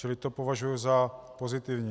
Čili to považuji za pozitivní.